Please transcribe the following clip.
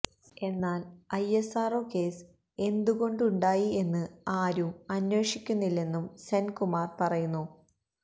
എന്നാല് ഐഎസ്ആര്ഒ കേസ് എന്തുകൊണ്ടുണ്ടായി എന്ന് ആരും അന്വേഷിക്കുന്നില്ലെന്നും സെന്കുമാര് പറയുന്നു